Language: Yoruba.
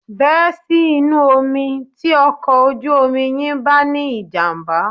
Bẹ́ sí inú omi tí ọkọ̀ ojú omi yín bá ní ìjàm̀bá